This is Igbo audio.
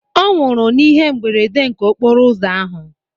Ọnwụrụ n'ihe mberede nke okporo ụzọ ahụ